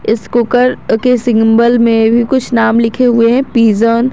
इस कुकर के सिंबल में भी कुछ नाम लिखे हुए हैं पिजन ।